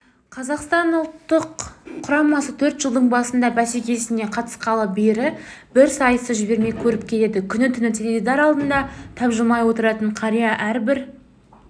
қазақстан ұлттық құрамасы төрт жылдықтың басты бәсекесіне қатысқалы бері бір сайысты жібермей көріп келеді күні-түні теледидар алдында тапжылмай отыратын қария әрбір